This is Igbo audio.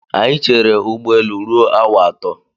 Anyị chere ụgbọelu ruo awa atọ.